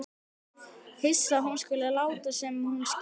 Hissa að hún skuli láta sem hún skilji ekki neitt.